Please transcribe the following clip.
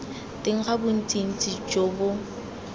teng ga bontsintsi jo bo